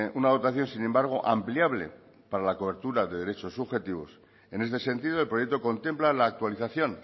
una dotación sin embargo ampliable para la cobertura de derechos subjetivos en este sentido el proyecto contempla la actualización